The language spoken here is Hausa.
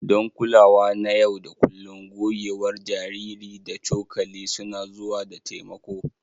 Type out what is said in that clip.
Don kulawa na yau da kullun, gogewar jariri da cokali suna zuwa da taimako.